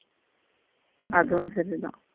அதுவும் சரிதான்